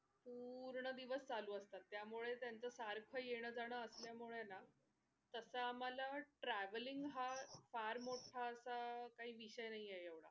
पूर्ण दिवस चालू असतात त्यामुळे त्याच सारखं येन जाण असल्यामुळे ना तसा आम्हाला travelling हा फार मोठा असा काही विषय नाही एवढा.